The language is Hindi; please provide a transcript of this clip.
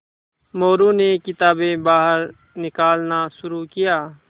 मोरू ने किताबें बाहर निकालना शुरू किया